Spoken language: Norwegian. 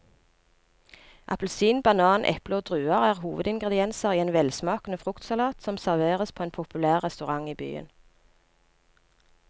Appelsin, banan, eple og druer er hovedingredienser i en velsmakende fruktsalat som serveres på en populær restaurant i byen.